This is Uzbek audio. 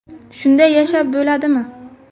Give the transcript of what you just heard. Shunday yashab bo‘ladimi?